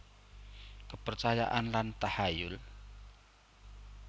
Kepercayaan lan tahayul